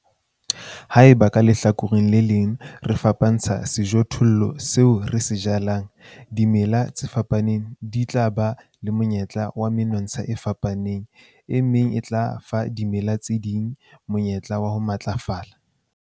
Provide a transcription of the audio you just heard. Haeba ka lehlakoreng le leng re fapantsha sejothollo seo re se jalang, dimela tse fapaneng di ba le monyetla wa menontsha e fapaneng, e leng se tla fa dimela tse ding monyetla wa ho matlafala.